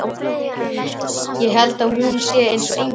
Ég held að hún sé eins og engill.